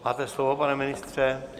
Máte slovo, pane ministře.